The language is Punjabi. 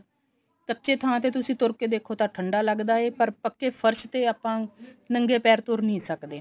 ਕੱਚੇ ਥਾਂ ਤੇ ਤੁਸੀਂ ਤੁਰ ਕੇ ਦੇਖੋ ਤਾਂ ਠੰਡਾ ਲੱਗਦਾ ਐ ਪਰ ਪੱਕੇ ਫਰਸ਼ ਤੇ ਆਪਾਂ ਨੰਗੇ ਪੈਰ ਤੁਰ ਨਹੀਂ ਸਕਦੇ